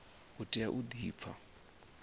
u tea u di pfa